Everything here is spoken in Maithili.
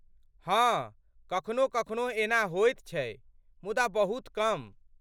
हाँ, कखनो कखनो एना होइत छै, मुदा बहुत कम।